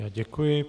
Já děkuji.